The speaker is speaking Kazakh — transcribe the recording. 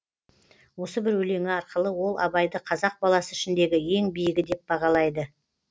осы бір өлеңі арқылы ол абайды қазақ баласы ішіндегі ең биігі деп бағалайды